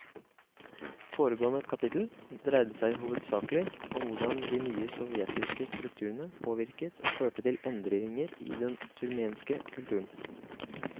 Foregående kapittel dreide seg hovedsakelig om hvordan de nye sovjetiske strukturene påvirket og førte til endringer i den turkmenske kulturen.